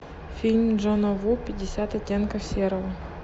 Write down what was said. фильм джона ву пятьдесят оттенков серого